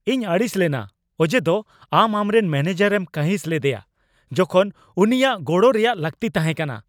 ᱤᱧ ᱟᱹᱲᱤᱥ ᱞᱮᱱᱟ ᱚᱡᱮᱫᱚ ᱟᱢ ᱟᱢᱨᱮᱱ ᱢᱮᱱᱮᱡᱟᱨ ᱮᱢ ᱠᱟᱺᱦᱤᱥ ᱞᱮᱫᱮᱭᱟ ᱡᱚᱠᱷᱚᱱ ᱩᱱᱤᱭᱟᱜ ᱜᱚᱲᱚ ᱨᱮᱭᱟᱜ ᱞᱟᱹᱠᱛᱤ ᱛᱟᱦᱮᱸ ᱠᱟᱱᱟ ᱾